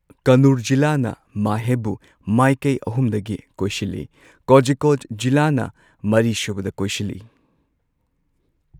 ꯀꯟꯅꯨꯔ ꯖꯤꯂꯥꯅ ꯃꯥꯍꯦꯕꯨ ꯃꯥꯏꯀꯩ ꯑꯍꯨꯝꯗꯒꯤ ꯀꯣꯏꯁꯤꯜꯂꯤ꯫ ꯀꯣꯓꯤꯀꯣꯗ ꯖꯤꯂꯥꯅꯥ ꯃꯔꯤꯁꯨꯕꯗ ꯀꯣꯏꯁꯤꯜꯂꯤ꯫